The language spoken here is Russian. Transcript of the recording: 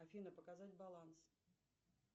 афина показать баланс